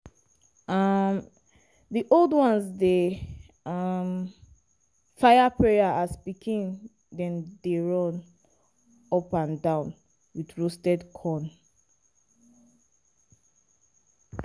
um di old ones dey um fire prayers as pikin dem dey run up-down with roasted corn.